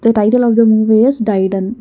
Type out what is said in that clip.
the title of the movie is daidan.